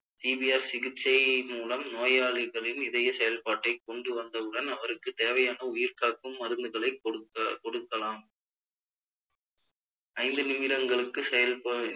CPR சிகிச்சை மூலம் நோயாளிகளின் இதய செயல்பாட்டை கொண்டுவந்தவுடன் அவருக்கு தேவையான உயிர் காக்கும் மருந்துகளை கொடுக்க~ கொடுக்கலாம் ஐந்து நிமிடங்களுக்கு செயல்ப~